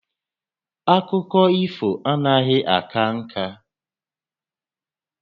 Akụkọ ifo anaghị aka ǹkà